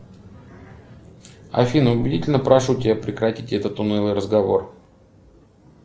афина убедительно прошу тебя прекратить этот унылый разговор